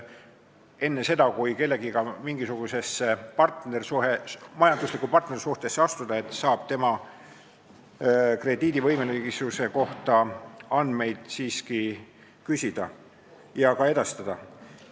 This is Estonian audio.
Enne seda, kui kellegagi mingisugusesse majanduslikku partnerlussuhtesse astuda, saab siiski tema krediidivõimelisuse kohta andmeid küsida ja need edastatakse.